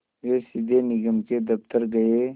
वे सीधे निगम के दफ़्तर गए